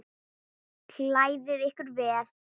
Klæðið ykkur vel.